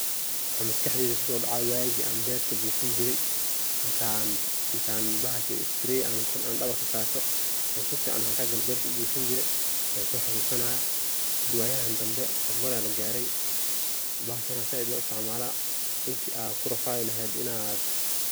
maxaa maskaxdeyda kuso dhacaya waagi an berta bufinjiray intan bahashi spray an dhabarka sarto an si fican maxa kale u bufin jire yan soo xasusanaya, hada waayan dambe hormar aya lagarey, bahashan aa zaaid loo isticmaala ,intii ad kurafaadi laheed inaad